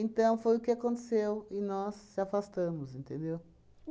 foi o que aconteceu e nós se afastamos, entendeu?